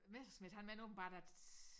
Messerschmidt han mener åbenbart at